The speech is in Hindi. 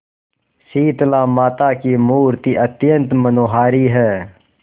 शीतलामाता की मूर्ति अत्यंत मनोहारी है